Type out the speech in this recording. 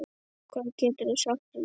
Hvað geturðu sagt um þetta?